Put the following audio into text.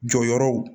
Jɔyɔrɔw